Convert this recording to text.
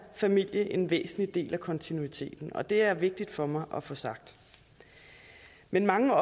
familie en væsentlig del af kontinuiteten det er vigtigt for mig at få sagt men mange